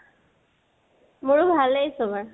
মোৰো ভালেই চবৰ